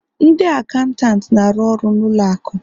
Ndị acantant na-arụ ọrụ na ụlọ akụ